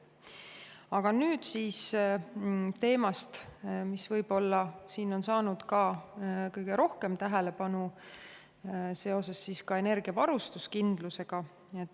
Aga nüüd teemast, mis on võib-olla saanud kõige rohkem tähelepanu seoses energiavarustuskindlusega.